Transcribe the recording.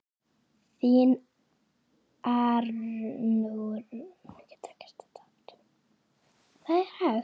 Þín, Arnrún Bára.